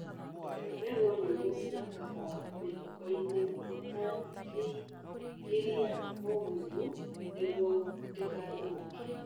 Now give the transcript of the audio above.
Iga mbegũ nyũmũ cia kahũa mĩhukoinĩ ĩtangĩingĩria ũgunyu nĩguo ndĩgathũke